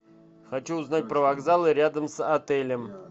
хочу узнать про вокзалы рядом с отелем